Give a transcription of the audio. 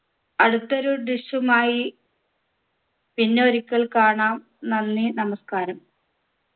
അടുത്ത ഒരു dish ഉമായി പിന്നെ ഒരിക്കൽ കാണാം നന്ദി നമസ്ക്കാരം